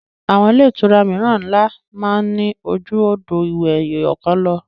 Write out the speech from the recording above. Àwọn ilé-ìtura mìíràn ńlá máa ní ju odò ìwẹ̀ ẹyọ̀kan lọ.